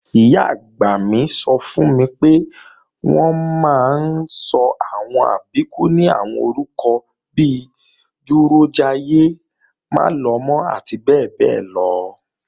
Ìyá-àgbà mi sọ fún mi pé, wọ́n máa ń sọ àwọn Àbíkú ní àwọn orúkọ bi Dúrójayé, Málọmọ́ àti bẹ́ẹ̀bẹ́ẹ́lọ